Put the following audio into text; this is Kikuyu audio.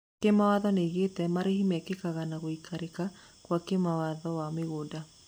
Makathimo nĩoigĩte marĩhi mekĩkaga na gwĩkĩrĩka gwa kĩwatho wa mĩgũnda